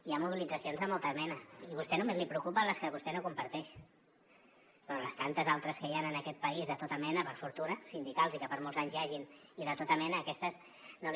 hi ha mobilitzacions de molta mena i a vostè només li preocupen les que vostè no comparteix però les tantes altres que hi han en aquest país de tota mena per fortuna sindicals i que per molts anys n’hi hagin i de tota mena aquestes no li